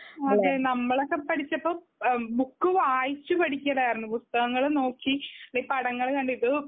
അതെ നമ്മളൊക്കെ പഠിച്ചപ്പം ആ ബുക്ക് വായിചു പഠിക്കലായിരുന്നു. പുസ്തകങ്ങളും നോക്കി പടങ്ങളും കണ്ട്